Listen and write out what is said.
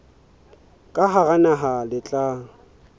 ka hara naha le tla